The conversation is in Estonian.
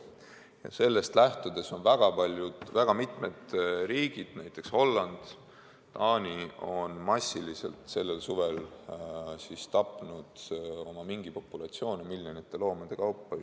Ja sellest lähtudes on väga mitmes riigis, näiteks Hollandis ja Taanis, sellel suvel massiliselt mingipopulatsioone tapetud, miljoneid loomi.